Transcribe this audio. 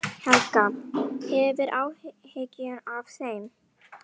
Helga: Hefurðu áhyggjur af þeim?